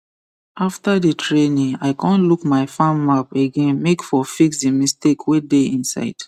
after the training i con look my farm map again make for fix the mistake wey dey inside